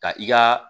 Ka i ka